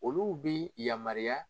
Olu bɛ yamaruya